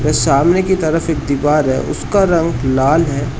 और सामने की तरफ एक दीवार है उसका रंग लाल है।